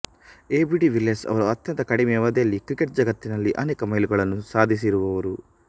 AB de Villiers ಅವರು ಅತ್ಯಂತ ಕಡಿಮೆ ಅವದಿಯಲ್ಲಿ ಕ್ರಿಕೆಟ್ ಜಗತಿನಲ್ಲಿ ಅನೇಕ ಮೈಲುಗಲ್ಲು ಸಾದಿಸಿಇರುವರು